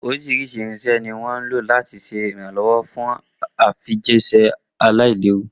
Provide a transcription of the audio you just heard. Oríṣiríṣi irinṣẹ́ ni wọ́n ń lò láti ṣe ìrànlọ́wọ́ fún ìfijíṣẹ́ aláìléwu.